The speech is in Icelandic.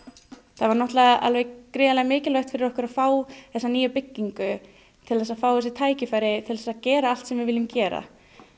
það var gríðarlega mikilvægt fyrir okkur að fá þessa nýju byggingu til þess að fá þessi tækifæri til að gera allt sem við viljum gera